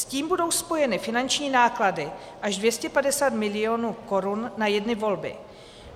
S tím budou spojeny finanční náklady až 250 milionů korun na jedny volby.